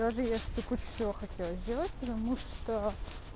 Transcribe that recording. даже если ты кучу всего хотела сделать потому что